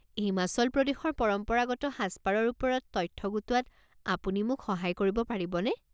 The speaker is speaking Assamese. হিমাচল প্ৰদেশৰ পৰম্পৰাগত সাজপাৰৰ ওপৰত তথ্য গোটোৱাত আপুনি মোক সহায় কৰিব পাৰিবনে?